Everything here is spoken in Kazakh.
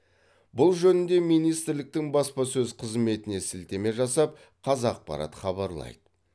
бұл жөнінде министрліктің баспасөз қызметіне сілтеме жасап қазақпарат хабарлайды